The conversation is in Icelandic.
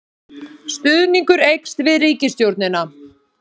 Stuðningur eykst við ríkisstjórnina